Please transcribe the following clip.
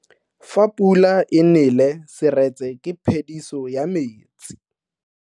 Fa pula e nele seretse ke phediso ya metsi.